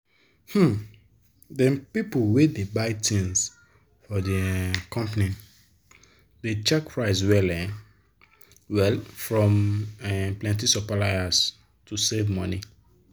dem people wey dey buy thing for de um company dey check price well um well from um plenti supplier to save money.